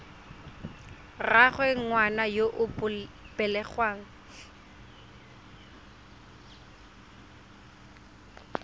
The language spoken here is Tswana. rraagwe ngwana yo o belegweng